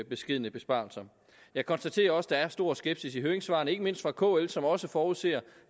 beskedne besparelser jeg konstaterer også at der er stor skepsis i høringssvarene ikke mindst fra kl som også forudser